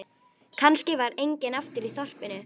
Kannski var enginn eftir í þorpinu.